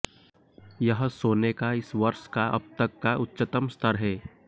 यह सोने का इस वर्ष का अब तक का उच्चतम स्तर है